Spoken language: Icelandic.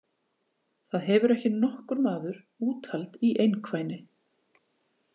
Það hefur ekki nokkur maður úthald í einkvæni!